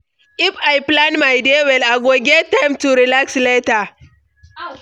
If I plan my day well, I go get time to relax later.